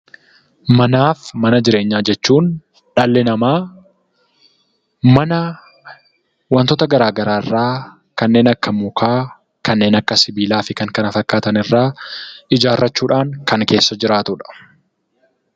Manaa fi mana jireenyaa jechuun dhalli namaa mana wantoota garaa garaa irraa kanneen akka mukaa, kanneen akka sibiilaa fi kan kana fakkaatan irraa ijaarrachuudhaan kan keessa jiraatudha.